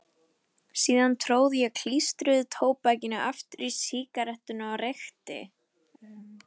Síðan tróð ég klístruðu tóbakinu aftur í sígarettuna og reykti.